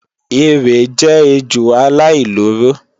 Erè jẹ́ ejò aláìlóró